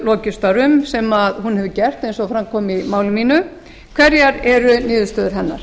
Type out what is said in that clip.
lokið störfum sem hún hefur gert eins og fram kom í máli mínu hverjar eru niðurstöður hennar